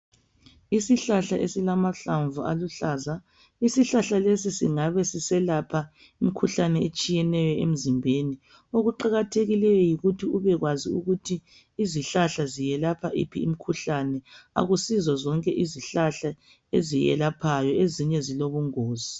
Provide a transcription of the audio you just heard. Isihlahla esilamahlamvu aluhlaza isihlahla lesi singabesiselapja umkhuhlane etshiyeneyo emzimbeni okuqakathekileyo yikuthi ubekwazi ukuthi izihlahla ezelapha yiphi imikhuhlane akusizo zonke izihlahla ezelaphayo ezinye zilobungozi.